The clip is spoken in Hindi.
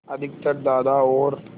अधिकतर दादा और